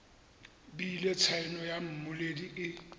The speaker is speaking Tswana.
bile tshaneo ya mmoledi e